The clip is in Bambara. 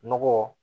Nɔgɔ